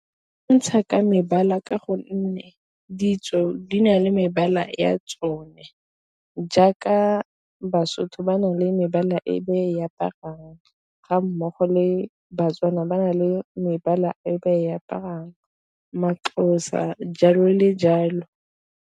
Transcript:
Ntsha ka mebala ka gonne ditso di na le mebala ya tsone, jaaka baSotho ba na le mebala e be e aparang ga mmogo le baTswana ba na le mebala e be e aparang maXhosa jalo le jalo.